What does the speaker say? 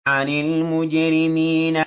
عَنِ الْمُجْرِمِينَ